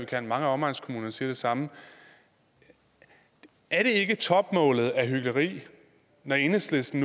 kan og mange af omegnskommunerne siger det samme er det ikke topmålet af hykleri når enhedslisten